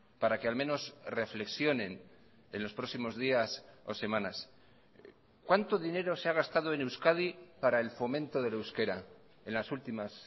para qué al menos reflexionen en los próximos días o semanas cuánto dinero se ha gastado en euskadi para el fomento del euskera en las últimas